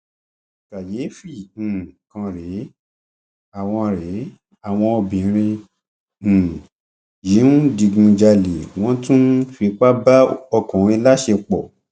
kàyééfì um kan rèé àwọn rèé àwọn obìnrin um yìí ń digunjalè wọn tún ń fipá bá ọkùnrin láṣepọ